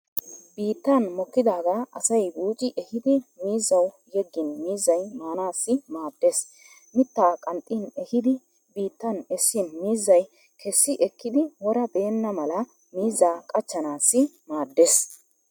Biittan mokkidaagaa asay buuci ehiidi miizzawu yeggin miizzay maanaassi maaddeees. Mittaa qanxxi ehiidi biittan essin miizzay kessi ekkidi wora beenna mala miizzaa qachchanaassi maaddeees.